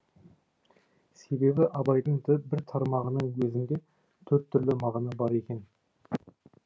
себебі абайдың бір тармағының өзінде төрт түрлі мағына бар екен